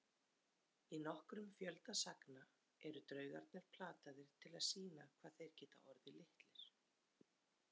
Í nokkrum fjölda sagna eru draugarnir plataðir til að sýna hvað þeir geti orðið litlir.